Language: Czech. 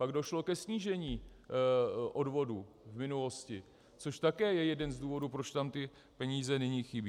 Pak došlo ke snížení odvodů v minulosti, což také je jeden z důvodů, proč tam ty peníze nyní chybí.